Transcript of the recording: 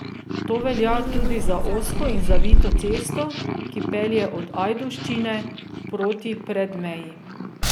To velja tudi za ozko in zavito cesto, ki pelje od Ajdovščine proti Predmeji.